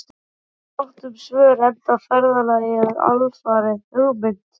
Það var fátt um svör, enda ferðalagið alfarið hugmynd